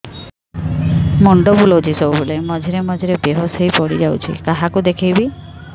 ମୁଣ୍ଡ ବୁଲାଉଛି ସବୁବେଳେ ମଝିରେ ମଝିରେ ବେହୋସ ହେଇ ପଡିଯାଉଛି କାହାକୁ ଦେଖେଇବି